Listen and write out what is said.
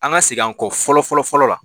An ka segin an kɔ fɔlɔ-fɔlɔ-fɔlɔ la